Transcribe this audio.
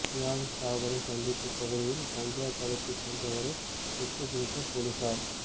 யாழ் தாவடி சந்திப் பகுதியில் கஞ்சா கடத்தி சென்றவரை சுட்டுப் பிடித்த பொலிசார்